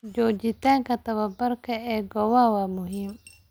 Joogitaanka tababarka ee goobaha waa muhiim.